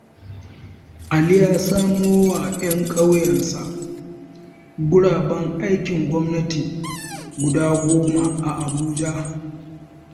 Ali ya samowa 'yan ƙauyensa guraben aikin gwamnati guda goma a Abuja.